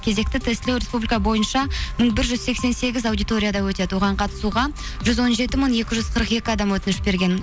кезекті тестілеу республика бойынша мың бір жүз сексен сегіз аудиторияда өтеді оған қатысуға жүз он жеті мың екі жүз қырық екі адам өтініш берген